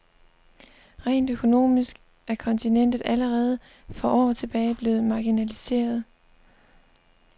Rent økonomisk er kontinentet allerede for år tilbage blevet marginaliseret.